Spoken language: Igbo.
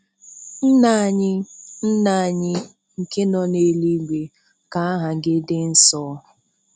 Nna anyị Nna anyị nke nọ n'eluigwe, ka aha gị dị nsọ.